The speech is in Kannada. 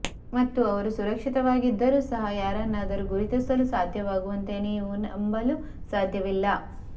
ಮತ್ತು ಅವರು ಸುರಕ್ಷಿತವಾಗಿದ್ದರೂ ಸಹ ಯಾರನ್ನಾದರೂ ಗುರುತಿಸಲು ಸಾಧ್ಯವಾಗುವಂತೆ ನೀವು ನಂಬಲು ಸಾಧ್ಯವಿಲ್ಲ